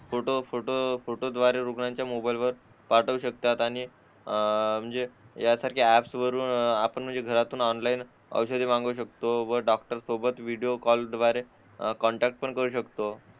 photo फोटोद्वारे रुग्णांच्या मोबाईलवर पाठवू शकतात आणि अह म्हणजे त्यासारख्या एप्स वरून आपण म्हणजे घरातून ऑनलाइन औषधे त्या शकतो व डॉक्टर शी व्हिडिओ कॉल द्वारे कॉन्टॅक्ट पण करू शकतो